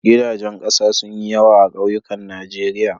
Gidajen ƙasa sun yi yawa a kauyukan Najeriya.